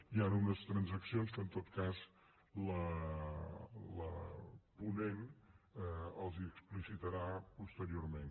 hi han unes transaccions que en tot cas la ponent els explicitarà posteriorment